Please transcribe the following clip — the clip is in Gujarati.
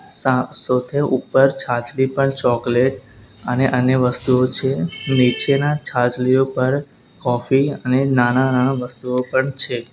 સા સૌથે ઉપર છાછલી પણ ચોકલેટ અને અન્ય વસ્તુઓ છે નીચેના છાજલી ઉપર કોફી અને નાના-નાના વસ્તુઓ પણ છે.